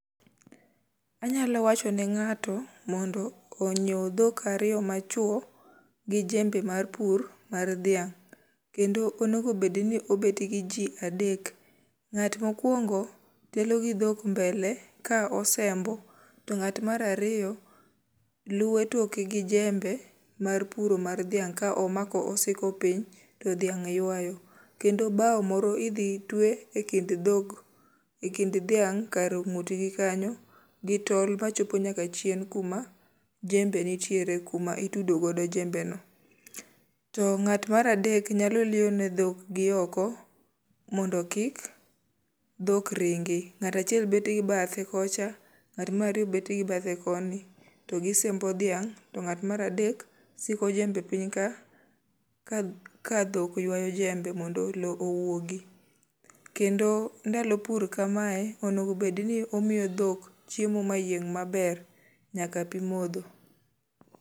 Anyalo wacho ne ngáto mondo onyiew dhok ariyo ma chwo, gi jembe mar pur mar dhiang'. Kendo onego bed ni obet gi ji adek, ngát mokwong telo gi dhok mbele ka osembo. To ngát mar ariyo luwo toke gi jembe mar puro mar dhiang' ka omako osiko piny, to dhiang' ywayo. Kendo bao moro idhi twe e kind dhok, e kind dhiang' kar ongut gi kanyo. Gi tol machopo nyaka chien kuma jembe nitiere, kuma itudo godo jembe no. To ngát mar adek nyalo liyo ne dhok gi oko, mondo kik dhok ringi. Ngáto achiel bet gi bathe kocha, to ngát mar ariyo bedo gi bathe koni, to gisembo dhiang'. To ngát mar adek siko jembe piny ka, ka ka dhok ywayo jembe mondo owuogi. Kendo ndalo pur kamae, onego bed ni omiyo dhok chiemo ma yieng' maber, nyaka pi modho.